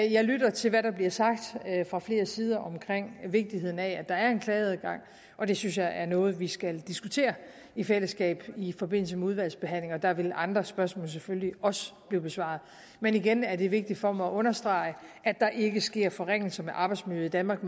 jeg lytter til hvad der bliver sagt fra flere sider om vigtigheden af at der er en klageadgang det synes jeg er noget vi skal diskutere i fællesskab i forbindelse med udvalgsbehandlingen der vil andre spørgsmål selvfølgelig også blive besvaret men igen er det vigtigt for mig at understrege at der ikke sker forringelser af arbejdsmiljøet i danmark